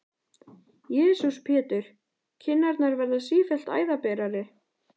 Jesús Pétur, kinnarnar verða sífellt æðaberari!